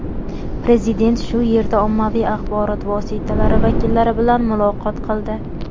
Prezident shu yerda ommaviy axborot vositalari vakillari bilan muloqot qildi.